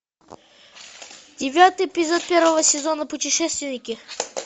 девятый эпизод первого сезона путешественники